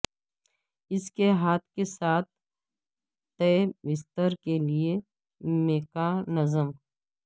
اس کے ہاتھ کے ساتھ تہ بستر کے لئے میکانزم